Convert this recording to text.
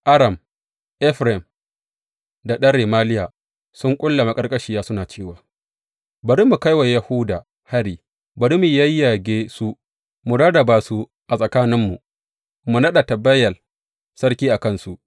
Aram, Efraim da ɗan Remaliya sun ƙulla maƙarƙashiya, suna cewa, Bari mu kai wa Yahuda hari; bari mu yayyage su mu rarraba su a tsakaninmu, mu naɗa Tabeyel sarki a kansu.